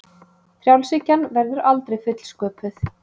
Frjálshyggjan verður aldrei fullsköpuð